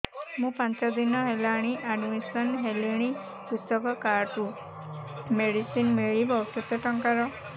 ମୁ ପାଞ୍ଚ ଦିନ ହେଲାଣି ଆଡ୍ମିଶନ ହେଲିଣି କୃଷକ କାର୍ଡ ରୁ ମେଡିସିନ ମିଳିବ କେତେ ଟଙ୍କାର